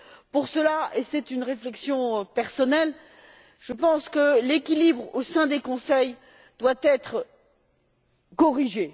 Pour cela et c'est une réflexion personnelle je pense que l'équilibre au sein des conseils doit être corrigé.